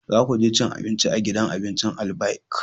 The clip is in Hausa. Za ku je cin abinci a gidan abincin Albaik!